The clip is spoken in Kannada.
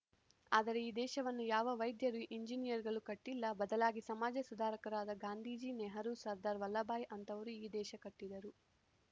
ಆದರೆ ಈ ದೇಶವನ್ನು ಯಾವ ವೈದ್ಯರು ಇಂಜಿನಿಯರ್‌ ಗಳು ಕಟ್ಟಿಲ್ಲ ಬದಲಾಗಿ ಸಮಾಜ ಸುಧಾರಕರಾದ ಗಾಂಧೀಜಿ ನೆಹರೂ ಸರ್ಧಾರ್‌ ವಲ್ಲಭಭಾಯ್‌ ಅಂಥವರು ಈ ದೇಶ ಕಟ್ಟಿದರು